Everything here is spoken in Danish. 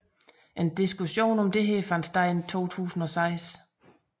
En diskussion om dette fandt sted i 2006